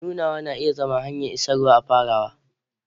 Nunawa na iya zama hanyar isarwa a farawa.